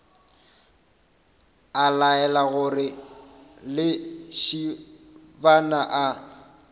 a laela gore lesibana a